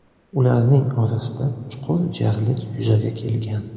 Ularning orasida chuqur jarlik yuzaga kelgan.